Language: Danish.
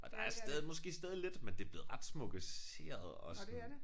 Og der er stadig måske stadig lidt men det blevet ret smukkeseret og sådan